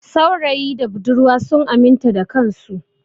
Saurayi da budurwa sun aminta da kansu.